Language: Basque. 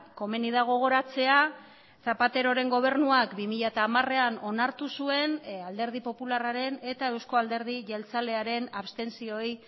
komeni da gogoratzea zapateroren gobernuak bi mila hamarean onartu zuen alderdi popularraren eta eusko alderdi jeltzalearen abstentzioei